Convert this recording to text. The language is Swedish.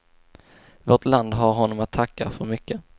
Vårt land har honom att tacka för mycket.